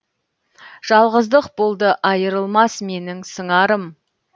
жалғыздық болды айрылмас менің сыңарым